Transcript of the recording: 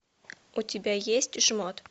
у тебя есть жмот